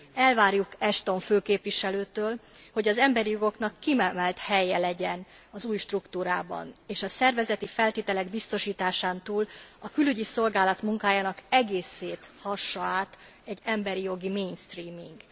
Elvárjuk Ashton főképviselőtől, hogy az emberi jogoknak kiemelt helye legyen az új struktúrában, és a szervezeti feltételek biztosításán túl a Külügyi Szolgálat munkájának egészét hassa át egy emberi jogi mainstreaming.